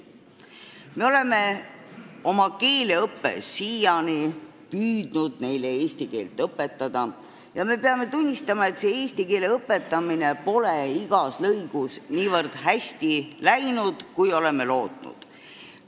Me oleme oma keeleõppes siiani püüdnud neile eesti keelt õpetada, aga peame tunnistama, et see õpetamine pole läinud igas lõigus nii hästi, kui oleme lootnud.